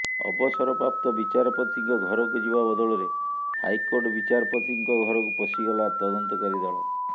ଅବସରପ୍ରାପ୍ତ ବିଚାରପତିଙ୍କ ଘରକୁ ଯିବା ବଦଳରେ ହାଇକୋର୍ଟ ବିଚାରପତିଙ୍କ ଘରକୁ ପଶିଗଲା ତଦନ୍ତକାରୀ ଦଳ